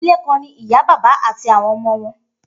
Idile kan ni iya, baba ati awọn ọmọ wọn.